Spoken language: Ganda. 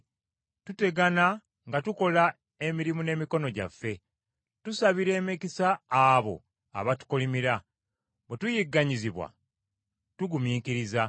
Tutegana nga tukola emirimu n’emikono gyaffe; tusabira emikisa abo abatukolimira; bwe tuyigganyizibwa tugumiikiriza;